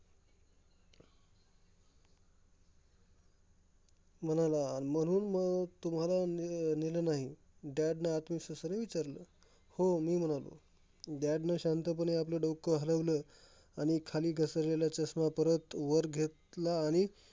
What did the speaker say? म्हणाला. म्हणून मग तुम्हाला ने नेलं नाही. dad ने आत्मविसवासाने विचारलं? हो मी म्हणालो. dad ने शांतपणे आपलं डोकं हलवलं आणि खाली घसरलेला चष्मा परत वर घेतला. आणि म्हणाला